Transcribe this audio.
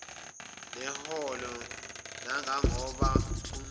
neholo nangangoba kunqume